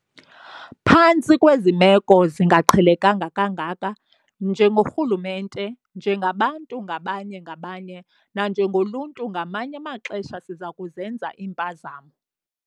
Phantsi kwezi meko zingaqhelekanga kangaka, njengorhulumente, njengabantu ngabanye-ngabanye nanjengoluntu ngamanye amaxesha siza kuzenza iimpazamo.